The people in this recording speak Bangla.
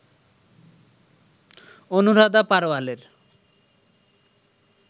অনুরাধা পাড়োয়ালের